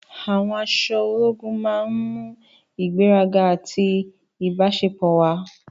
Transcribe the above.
Àwọn aṣọ ológun máa ń mú ìgbéraga àti ìbáṣepọ̀ wá.